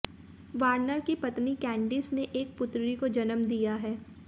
Warner की पत्नी Candice ने एक पुत्री को जन्म दिया है